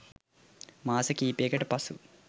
මාස කීපයකට පසු